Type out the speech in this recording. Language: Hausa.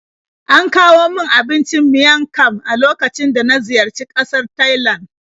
An kawo min abincin miang kham a lokacin da na ziyarci ƙasar Thailand.